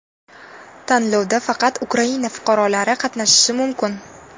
Tanlovda faqat Ukraina fuqarolari qatnashishi mumkin.